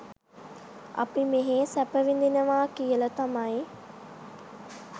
අපි මෙහෙ සැප විඳිනවා කියල තමයි